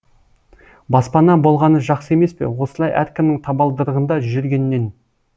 баспана болғаны жақсы емес пе осылай әркімнің табалдырығында жүргеннен